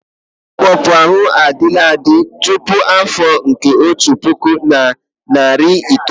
Ịkpọpu anụ ahụ adịla adị tupu afọ nke otu puku na nari itoolu.